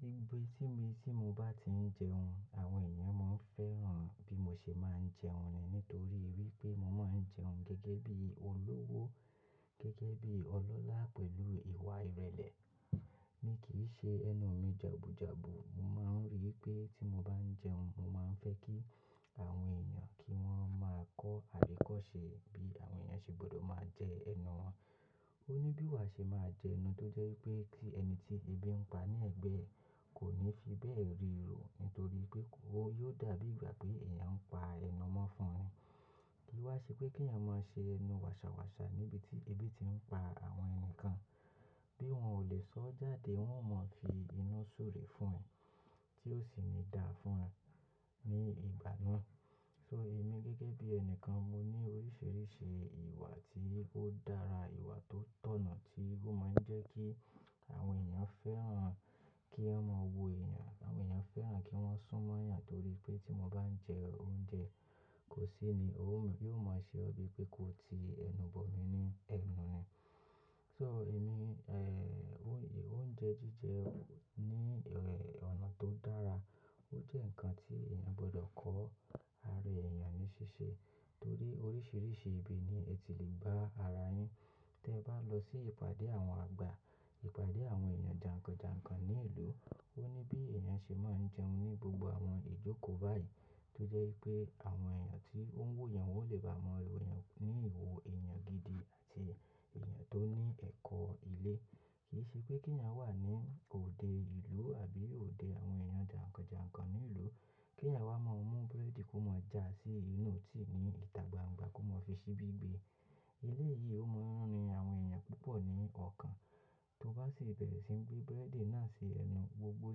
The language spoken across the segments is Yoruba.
Gbigbe tí mi tí mo bá ti ń jẹun, àwọn èèyàn máa ń fẹ́ràn bí mo ṣe máa ń jẹun ni nítorí pé mo máa ń jẹun gẹ́gẹ́ bí olówó, gẹ́gẹ́ bí ọlọ́lá pẹ̀lú ìwa ìrẹ̀lẹ̀. Mi kì í ṣe ẹnu mi jàbù jàbù. Mo máa ń rí i pé tí mo bá ń jẹun, mo máa ń fẹ́ kí àwọn èèyàn kí wọ́n máa kọ àríkọ́ ṣe bí àwọn èèyàn ṣe gbọdọ̀ máa jẹ ẹnu wọn. Ó ní bí wà ṣe máa jẹun tó jẹ́ wípé kí ẹni tí ebí ń pa ní ẹ̀gbẹ́ ẹ kò ní fi bẹ́ẹ̀ ríro nítorí pé kó yóò dàbí ìgbà pé èèyàn ń pa ẹnu mọ́ fún ni Kí wà ṣe pé kí èèyàn máa ṣe ẹnu wàṣàwàṣà níbi tí ebi ti ń pa àwọn ẹni kan. Bí wọ́n ò lè sọ ọ́ jáde, wọ́n ó mọ fi iná súre fún ẹ tí ó sì ní da fún ẹ ní ìgbà náà. So èmi gẹ́gẹ́ bí ẹni kan mo ní oríṣiríṣi ìwà tí ó dára, ìwà tó tọ̀nà tí ó máa ń jẹ́ kí àwọn èèyàn fẹ́ràn kí wọ́n máa wo èèyàn. Àwọn èèyàn fẹ́ràn kí wọ́n sún mọ́ èèyàn torí pé tí mo bá ń jẹ oúnjẹ, kò sí ni ó máa, yóò máa ṣe ọ́ bí pé kó ti ẹnu bọ̀ mí ní ẹnu ni. So èmi, eh, oún, oúnjẹ jíjẹ ní ọ̀nà tó dára ó jẹ́ ǹkan tí èèyàn gbọdọ̀ kọ ara èèyàn ní ṣíṣe torí oríṣiríṣi ibi ni ẹ ti lè bá ara yín. Tẹ bá lọ sí ìpàdé àwọn àgbà, ìpàdé àwọn èèyàn jànkànjànkàn ní ìlú, ó ní bí èèyàn ṣe máa ń jẹun ní gbogbo àwọn ìjókòó báyìí tó jẹ́ wípé àwọn èèyàn tí ó ń wò yàn wọ́n ò lè bá mọ wò èèyàn ní ìwò èèyàn gidi àti èèyàn tó ní ẹ̀kọ́ ilé. Kì í ṣe pé kí èèyàn wà ní òde ìlú àbí òde àwọn èèyàn jànkànjànkàn ní ìlú, kí èèyàn wá mọ mú búrẹ́dì kó máa jà sí inú tíì ní ìtà gbangba kó máa fi ṣíbí gbe Ilé yìí ó mọ́ rin àwọn èèyàn púpọ̀ ní ọ̀kan, tó bá ṣe bẹ̀rẹ̀ sí ń gbé búrẹ́dì náà ṣe ẹnu, gbogbo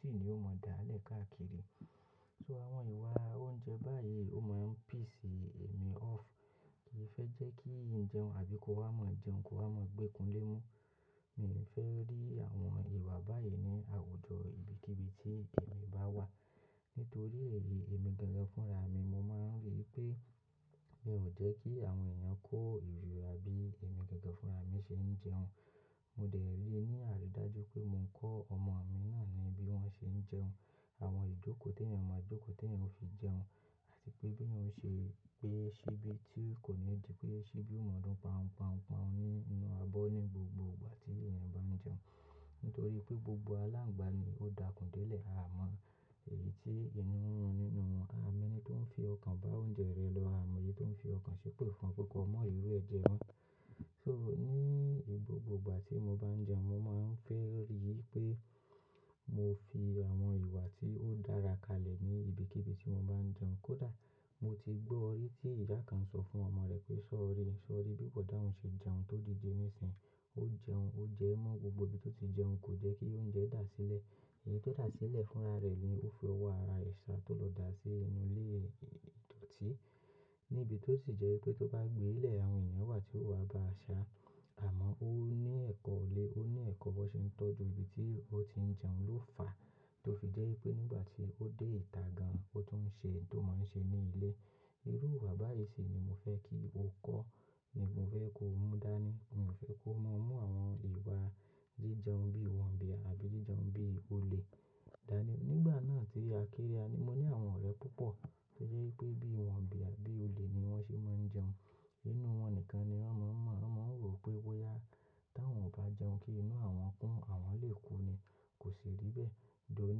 tíì ni ó mọ dáàlẹ̀ káàkiri. So àwọn ìwà oúnjẹ báyìí ó máa ń piss èmi off. Kì í fẹ́ jẹ́ kí ń jẹun àbí kó wá mọ̀ jẹun kó wá mọ̀ gbékun lémú. Mi ò fẹ́ rí àwọn ìwà báyìí ní àwùjọ ibikíbi tí èmi bá wà. Nítorí èyí èmi gangan fúnra mi, mo máa ń rí i pé è ò jẹ́ kí àwọn èèyàn kó ìríra bí èmi gangan fúnra mi ṣe ń jẹun. Mo dẹ̀ lé ní àrí dáájú pé mo ń kọ́ ọmọ mi náà ní bí wọ́n ṣe ń jẹun. Àwọn ìjókòó tí èèyàn máa jókòó, tí èèyàn ó fi jẹun àti pé bí èèyàn ṣe gbé ṣíbí tí kò ní ó di pé ṣíbí ó mọ̀ọ́dún pan pan pan nínú abọ́ ní gbogbo ìgbà tí èèyàn bá ń jẹun. Nítorí pé gbogbo aláǹgbá ni ó dàkún délẹ̀ a mọ èyí tí inú ń run nínú wọn. A mọ ẹni tó ń fi ọkàn bá oúnjẹ rẹ̀ lọ, a mọ èyí tó ń fi ọkàn ṣépè fún un pé kọ́ mọ rí irú ẹ̀ jẹ mọ́ So ní gbogbo ìgbà tí mo bá ń jẹun, mo máa ń fẹ́ rí i pé mo fi àwọn ìwà tí ó dára kalẹ̀ ní ibikíbi tí mo bá ń jẹun. Kódà mo ti gbọ́ rí tí ìyá kan ń sọ fún ọmọ rẹ̀ pé "sọ̀rí, sọ̀rí bí bòdá hun ṣe jẹun tó dìde nísìnyí. Ó jẹun, ó jẹ ẹ́ mọ́ gbogbo bí tó ti jẹun, kò jẹ́ kí oúnjẹ dà sílẹ̀." Èyí tó dà sílẹ̀ fúnra rẹ̀ ni ó fi ọwọ́ ara ẹ̀ sá tó lọ dà sí inú ilé ìdòtí níbi tó sì jẹ́ wípé tó bá gbé ilẹ̀ àwọn èèyàn wà tí ó wá bá a ṣàá Àmọ́ ó ní ẹ̀kọ́ ilé, ó ní ẹ̀kọ́ bó ṣe ń tọ́jú ibi tí ó ti ń jẹun ló fà tó fi jẹ́ wípé nígbà tí ó dé ìtà gan-an, ó tún ń ṣe tó máa ń ṣe ní ilé. Irú ìwà báyìí sì ni mo fẹ́ kí o kọ́ ni mo fẹ́ kí o mú dání. Mi ò fẹ́ kó máa mú àwọn ìwà jíjẹun bí wọ̀nbìà àbí jíjẹun bí olè dání. Nígbà náà tí a kéré a ni mo ní àwọn ọ̀rẹ́ púpọ̀ tó jẹ́ wípé bí wọ̀nbìà bí olè ni wọ́n ṣe máa ń jẹun. Inú wọn nìkan ni wọ́n máa ń mọ̀, wọ́n máa ń rò pé wó yá táwọn ò bá jẹun kí inú àwọn kún, àwọn lè kú ni. Kò sì rí bẹ́ẹ̀. Dọ̀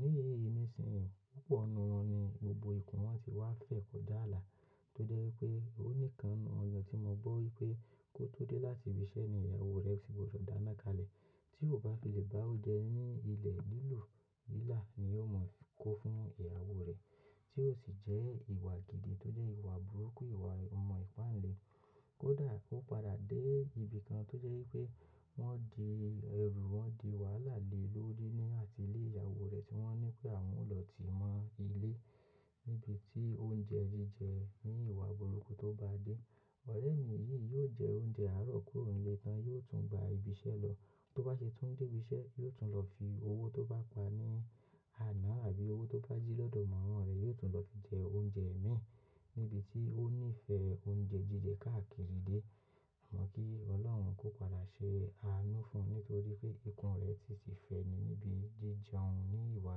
ní nísìnyí púpọ̀ nínú wọn ni gbogbo ikùn wọn ti wá fẹ̀ kọjá ààlà tó jẹ́ wípé ó nìkan nínú wọn tí mo gbọ́ wí pé kó tó dé láti ibi iṣẹ́ ni ìyàwó rẹ̀ ti gbọdọ̀ dáná kalẹ̀. Tí ò bá fi lè bá ó jẹun ní ilẹ̀ lílù lílà ni ó mọ kó fún ìyàwó rẹ̀ tí ó sì jẹ́ ìwà gidi tó jẹ́ ìwà burúkú, ìwà ọmọ ìpáǹle. Kódà ó padà dé ibi kan tó jẹ́ wípé wọ́n di ẹrú, wọ́n di wàhálà lé lórí ní àti ilé ìyàwó rẹ̀ tí wọ́n ní pé àwọn ó lọ tìí mọ ilé níbi tí oúnjẹ jíjẹ ní ìwà burúkú tó bá dé. Ọ̀rẹ́ mi yìí yóò jẹ oúnjẹ àárọ̀ kúrò nílé tán, yóò tún gba ibi iṣẹ́ lọ. Tó bá ṣe tún dé ibi iṣẹ́, yóò tún lọ fi owó tó bá pa ní àná àbí owó tó bá jí lọ́dọ̀ mọ̀mọ́ rẹ̀, yóò tún lọ fi jẹ oúnjẹ ẹ̀ mìín níbi tí ó ní ìfẹ́ oúnjẹ jíjẹ káàkiri dé. Mọ̀ pé Ọlọ́run kò padà ṣe àánú fún un nítorí pé ikùn rẹ̀ ti sì fẹ́ni níbi jíjẹun ní ìwà.